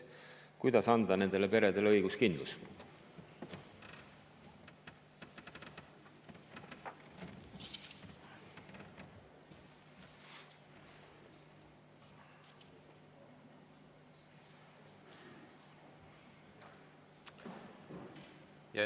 Kuidas anda nendele peredele õiguskindlus?